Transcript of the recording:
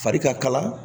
Fari ka kala